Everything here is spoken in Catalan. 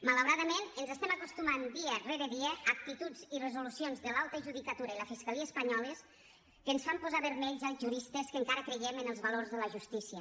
malauradament ens estem acostumant dia rere dia a actituds i resolucions de l’alta judicatura i la fiscalia espanyoles que ens fan posar vermells als juristes que encara creiem en els valors de la justícia